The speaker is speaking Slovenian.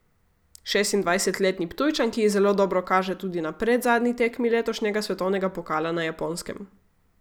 Šestindvajsetletni Ptujčanki zelo dobro kaže tudi na predzadnji tekmi letošnjega svetovnega pokala na Japonskem.